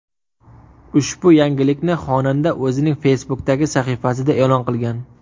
Ushbu yangilikni xonanda o‘zining Facebook’dagi sahifasida e’lon qilgan .